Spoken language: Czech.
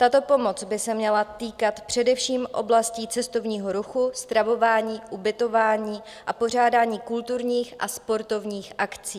Tato pomoc by se měla týkat především oblastí cestovního ruchu, stravování, ubytování a pořádání kulturních a sportovních akcí.